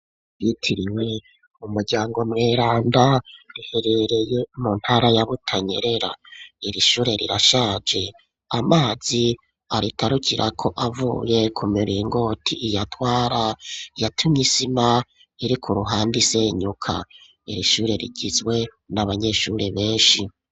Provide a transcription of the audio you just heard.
Ryitiriwe umuryango Mweranda ,riherereye mu ntara ya Butanyerera, iri ishure rirashaje ,amazi aritarukira ko avuye ku miringoti iyatwara, yatumye isima iri ku ruhande isenyuka, iri ishure rigizwe n'abanyeshuri benshi